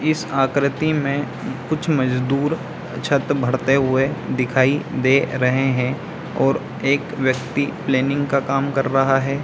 इस आकृति मे कुछ मजदूर छत भरते हुए दिखाई दे रहे है और एक व्यक्ति प्लैनिंग का काम कर रहा है।